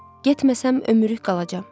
Getməsəm ömürlük qalacam.